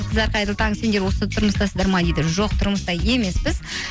қыздар қайырлы таң сендер осы тұрмыстасыздар ма дейді жоқ тұрмыста емеспіз